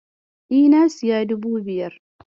E, na siya dubu biyar.